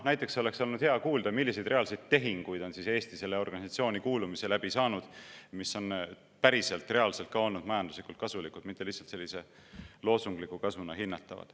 Näiteks oleks olnud hea kuulda, milliseid reaalseid tehinguid on Eesti sellesse organisatsiooni kuulumise läbi saanud, mis on päriselt, reaalselt ka olnud majanduslikult kasulik, mitte lihtsalt sellise loosungliku kasvuna hinnatav.